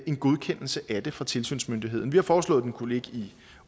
en godkendelse af det fra tilsynsmyndigheden vi har foreslået den kunne ligge